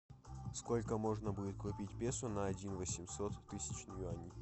сколько можно будет купить песо на один восемьсот тысяч юаней